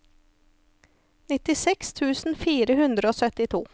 nittiseks tusen fire hundre og syttito